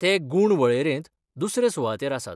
ते गूण वळेरेंत दुसरे सुवातेर आसात.